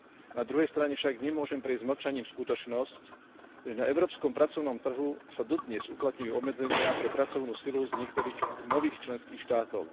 Na druhej strane však nemôžem prejsť mlčaním skutočnosť, že na európskom pracovnom trhu sa dodnes uplatňujú obmedzenia pre pracovnú silu z niektorých nových členských štátov.